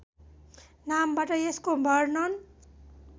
नामबाट यसको वर्णन